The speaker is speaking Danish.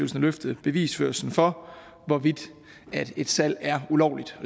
løfte bevisførelsen for hvorvidt et salg er ulovligt